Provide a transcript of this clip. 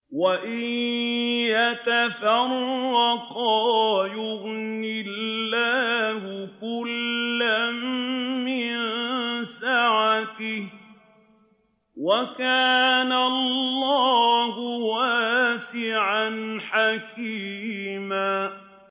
وَإِن يَتَفَرَّقَا يُغْنِ اللَّهُ كُلًّا مِّن سَعَتِهِ ۚ وَكَانَ اللَّهُ وَاسِعًا حَكِيمًا